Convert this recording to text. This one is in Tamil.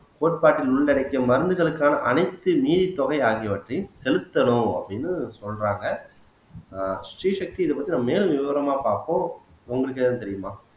கோட்பாட்டில் உள்ளடக்கிய மருந்துகளுக்கான அனைத்து நிதித்தொகை ஆகியவற்றையும் செலுத்தணும் அப்படின்னு சொல்றாங்க ஆஹ் ஸ்ரீ சக்தி இதைப் பத்தி நாம மேலும் விவரமா பார்ப்போம் உங்களுக்கு ஏதும் தெரியுமா